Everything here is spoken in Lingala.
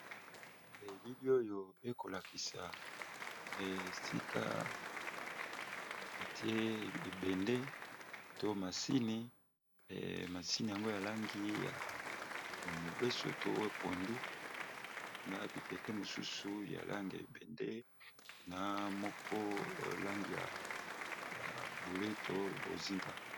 Elili oyo ekolakisa esika batie ebende to masini, yango ya langi ya mobeso to pondu na bibende mosusu ya langi ebende, na moko langi ya bule to bozinga.